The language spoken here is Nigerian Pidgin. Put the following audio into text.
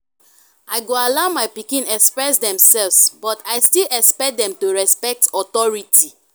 i go allow my pikin express demself but i still expect dem to respect authority.